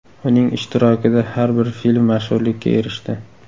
Uning ishtirokida har bir film mashhurlikka erishdi.